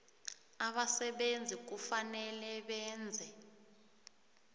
abasebenzi kufanele benze